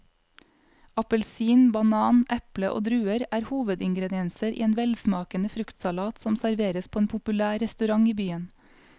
Appelsin, banan, eple og druer er hovedingredienser i en velsmakende fruktsalat som serveres på en populær restaurant i byen.